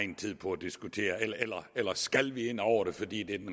tid på at diskutere eller skal vi ind over det fordi det er den